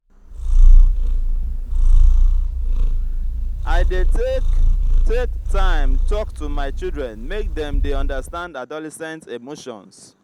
i dey take dey take time tok to my children make dem dey understand adolescent emotions.